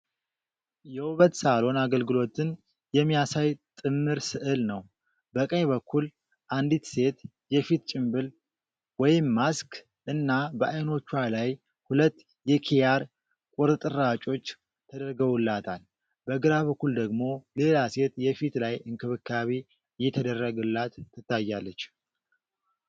የውበት ሳሎን አገልግሎትን የሚያሳይ ጥምር ሥዕል ነው። በቀኝ በኩል አንዲት ሴት የፊት ጭንብል (ማስክ) እና በዓይኖቿ ላይ ሁለት የኪያር ቁርጥራጮች ተደርገውላታል። በግራ በኩል ደግሞ ሌላ ሴት የፊት ላይ እንክብካቤ እየተደረገላት ትታያለች።